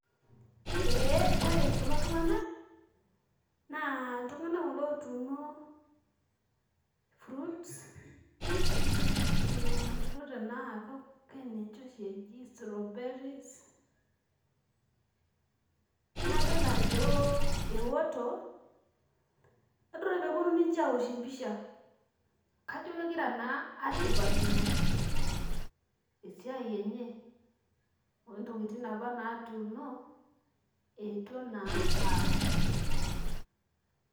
Ee ore kulo tung'anak, naa iltung'anak kulo otuuno fruits, mayiolo tenaa keninche oshi eji strawberries. Nadol ajo eoto, nadol peponu ninche awosh empisha. Kajo kegira naa ashipakino esiai enye ontokiting apa natuuno, eetuo naa aaku.